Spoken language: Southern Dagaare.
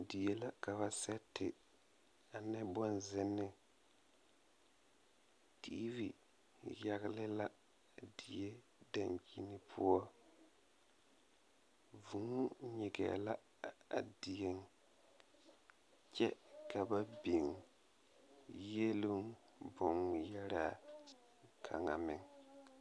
Die la ka seti ane boŋ zenneŋ tiivi yagle la a die dankyini poɔ vūū nyigɛɛ la a dieŋ kyɛ ka ba biŋ yieluŋ boŋ ŋmeɛraa kaŋa meŋ.